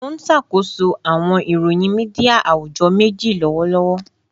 Mo n ṣakoso awọn iroyin media awujọ meji lọwọlọwọ